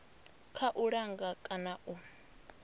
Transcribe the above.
kha u langa kana u